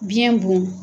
Biyɛn bon